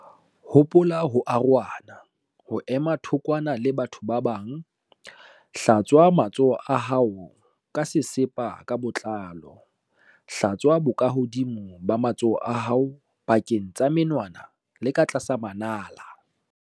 Hopola ho arohana, ho ema thokwana le batho ba bang. Hlatswa matsoho a hao ka sesepa ka botlalo. Hlatswa bokahodimo ba matsoho a hao, pakeng tsa menwana le ka tlasa manala.